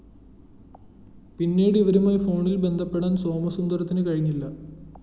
പിന്നീട്‌ ഇവരുമായി ഫോണില്‍ ബന്ധപ്പെടാന്‍ സോമസുന്ദരത്തിന്‌ കഴിഞ്ഞില്ല